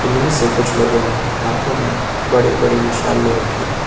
इनमें से कुछ लोगों ने हाथों में बड़ी बड़ी मशाल ले रखी है।